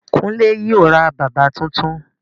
Kunle yóò ra bàbà tuntun